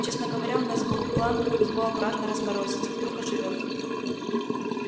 честно говоря у нас был план его аккуратно разморозить вдруг оживёт